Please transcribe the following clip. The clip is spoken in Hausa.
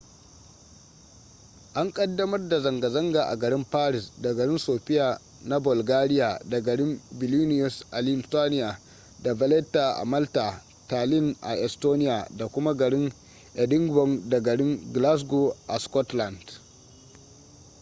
an kaddamar da zanga-zanga a garin paris da garin sofia na bulgaria da garin vilinius a lithuania da valetta a malta tallinn a estonia da kuma garin edinburgh da garin glasgow a scotland